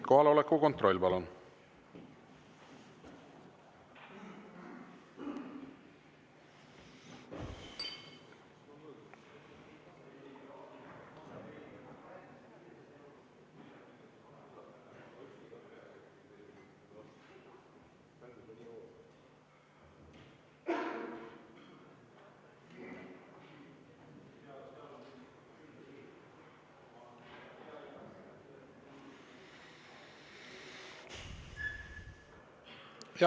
Kohaloleku kontroll, palun!